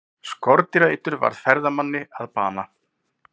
Skordýraeitur varð ferðamanni að bana